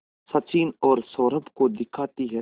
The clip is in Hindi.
सचिन और सौरभ को दिखाती है